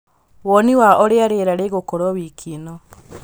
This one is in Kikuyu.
woni wa ūrīa rīera rīgūkorwo wiki īno